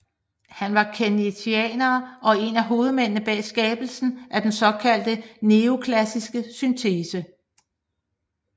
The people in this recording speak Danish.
Han var keynesianer og en af hovedmændene bag skabelsen af den såkaldte neoklassiske syntese